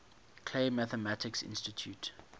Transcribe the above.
clay mathematics institute